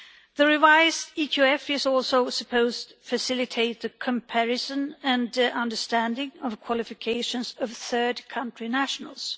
The revised EQF is also supposed to facilitate the comparison and understanding of the qualifications of third country nationals.